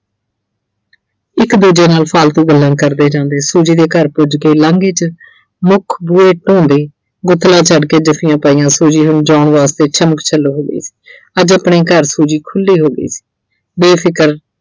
ਇੱਕ ਦੂਜੇ ਨਾਲ ਫਾਲਤੂ ਗੱਲਾਂ ਕਰਦੇ ਜਾਂਦੇ Suji ਦੇ ਘਰ ਪੁੱਜ ਕੇ ਲਾਂਘੇ 'ਚ ਮੁੱਖ ਬੂਹੇ ਛੱਡ ਕੇ ਜੱਫੀਆ ਪਾਈਆ Suji ਨੂੰ ਨਚਾਉਣ ਵਾਸਤੇ ਛੱਮਕ-ਛੱਲੋ ਹੋ ਗਈ। ਅੱਜ ਆਪਣੇ ਘਰ Suji ਖੁੱਲੀ ਹੋ ਗਈ ਸੀ ਬੇਫਿਕਰ